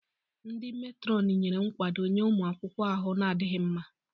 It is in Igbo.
Ndi metrons nyere nkwado nye ụmụ akwụkwọ ahụ na-adịghị mma.